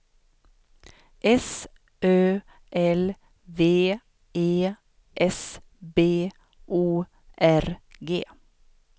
S Ö L V E S B O R G